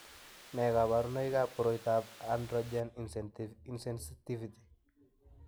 Nee kabarunoikab koroitoab Androgen insensitivity?